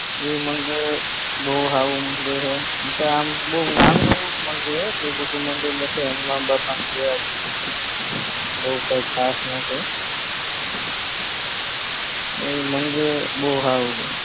ઇ મંદિર બોવ સારું મંદિર છે એતો આમ નાનું એવુજ મંદિર હે બોવ કાય ખાસ નથી બરાબર મંદિર બોવ સારું છે